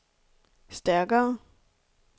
stærkere